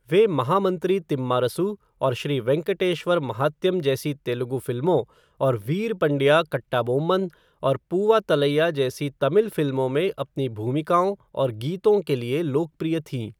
वह महामन्त्री तिम्मारसु और श्री वेंकटेश्वर महात्यम जैसी तेलुगु फिल्मों और वीरपंडिया कट्टाबोम्मन और पूवा तलैया जैसी तमिल फिल्मों में अपनी भूमिकाओं और गीतों के लिए लोकप्रिय थीं।